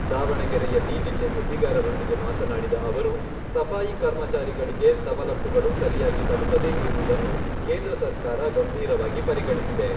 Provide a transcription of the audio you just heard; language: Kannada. ದಾವಣಗೆರೆಯಲ್ಲಿ ನಿನ್ನೆ ಸುದ್ದಿಗಾರರೊಂದಿಗೆ ಮಾತನಾಡಿದ ಅವರು, ಸಫಾಯಿ ಕರ್ಮಚಾರಿಗಳಿಗೆ ಸವಲತ್ತುಗಳು ಸರಿಯಾಗಿ ತಲುಪದೇ ಇರುವುದನ್ನು ಕೇಂದ್ರ ಸರ್ಕಾರ ಗಂಭೀರವಾಗಿ ಪರಿಗಣಿಸಿದೆ.